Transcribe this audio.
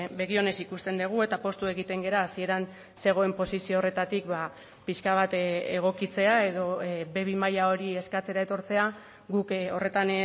begi onez ikusten dugu eta poztu egiten gara hasieran zegoen posizio horretatik pixka bat egokitzea edo be bi maila hori eskatzera etortzea guk horretan